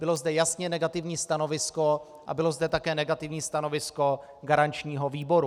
Bylo zde jasně negativní stanovisko a bylo zde také negativní stanovisko garančního výboru.